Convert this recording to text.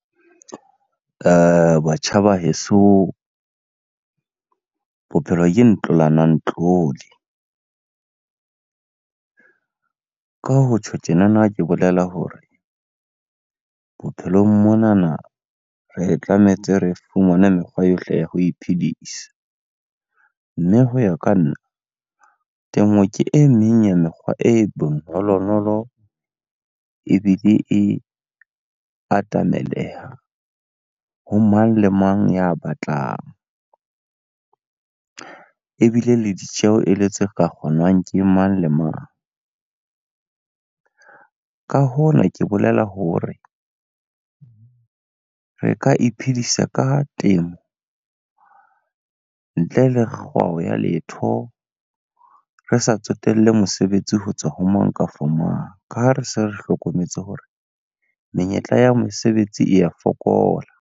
Batjha ba heso, bophelo ke ntlolanang ntlole. Ka ho tjho tjenana, ke bolela hore bophelong monana re tlametse re fumane mekgwa yohle ya ho iphedisa. Mme ho ya ka nna, temo ke e meng ya mekgwa e bonolonolo ebile e atameleha ho mang le mang ya batlang. Ebile le ditjeho ele tse ka kgonwang ke mang le mang. Ka hona ke bolela hore, re ka iphedisa ka temo ntle le kgwao ya letho. Re sa tsotelle mosebetsi ho tswa ho mang kafa mang. Ka ha re se re hlokometse hore menyetla ya mesebetsi e ya fokola.